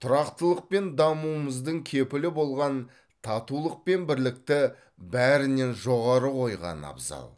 тұрақтылық пен дамуымыздың кепілі болған татулық пен бірлікті бәрінен жоғары қойған абзал